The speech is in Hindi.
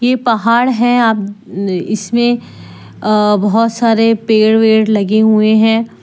पहाड़ है इसमें अ बहोत सारे पेड़ वेड लगे हुए हैं।